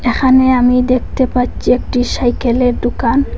এখানে আমি দেখতে পাচ্চি একটি সাইকেলের ডুকান ।